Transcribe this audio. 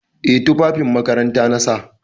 Eh tufafin makaranta na sa.